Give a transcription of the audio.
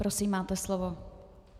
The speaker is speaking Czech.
Prosím, máte slovo.